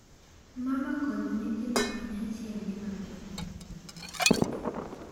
“Mama kod nyithindo kanyachiel dhi maber,” laktar.